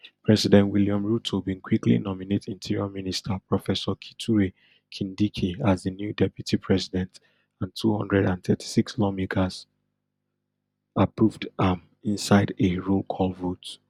president william ruto bin quickly nominate interior minister professor kithure kindiki as di new deputy president and two hundred and thirty-six lawmakers approved am inside a rollcall vote